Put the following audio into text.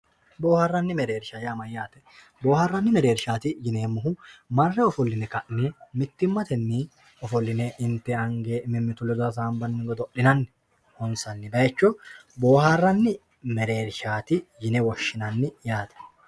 Boharani merersha yaa mayate boharani merershati yinemohu mare ofoline ka`ne mitimate ofoline inte ange mimitu ledo hasanben godolinani honsani bayicho boharani mereershat yine woshinani yaate.